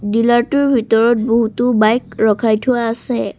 Dealer টোৰ ভিতৰত বহুতো বাইক ৰখাই থোৱা আছে।